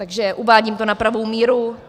Takže uvádím to na pravou míru.